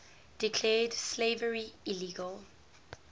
declared slavery illegal